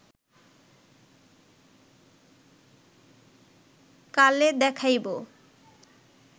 কালে দেখাইব